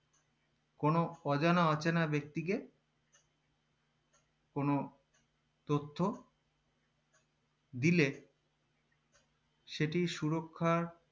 কোনো অজানা অচেনা ব্যাক্তিকে কোনো তথ্য দিলে সেটি সুরক্ষার